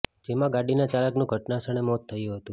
જેમાં ગાડીના ચાલકનું ઘટના સ્થળે મોત થયું હતું